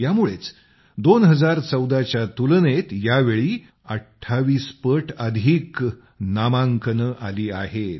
यामुळेच 2014 च्या तुलनेत यावेळी 28 पट अधिक नामांकन आलेले आहेत